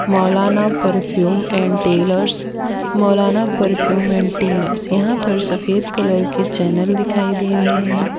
Maulana perfume and tailors Maulana perfume and tailors यहां पर सफेद कलर के चैनल दिखाई दे रहे हैं।